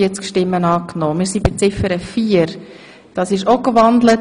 Sie haben Ziffer drei als Postulat angenommen.